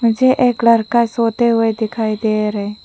मुझे एक लड़का सोते हुए दिखाई दे रे--